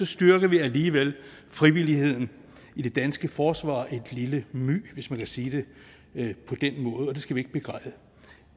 styrker vi alligevel frivilligheden i det danske forsvar et lille my hvis man kan sige det på den måde og det skal vi ikke begræde